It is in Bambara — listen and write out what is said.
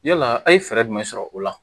Yala a' ye fɛɛrɛ jumɛn sɔrɔ o la